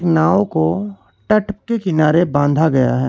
नाव को टट पे किनारे बांधा गया है।